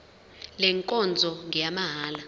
le nkonzo ngeyamahala